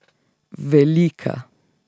Velika.